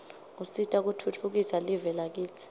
usita kutfutfukisa live lakitsi